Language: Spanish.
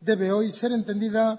debe hoy ser entendida